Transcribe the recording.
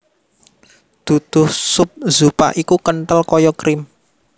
Duduh sup zupa iku kenthel kaya krim